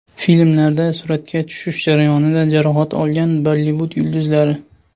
Filmlarda suratga tushish jarayonida jarohat olgan Bollivud yulduzlari .